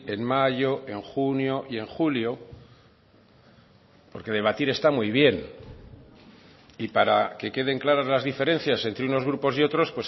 en mayo en junio y en julio porque debatir está muy bien y para que queden claras las diferencias entre unos grupos y otros